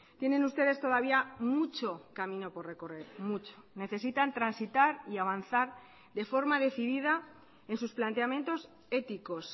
tienen ustedes todavía mucho camino por recorrer mucho necesitan transitar y avanzar de forma decidida en sus planteamientos éticos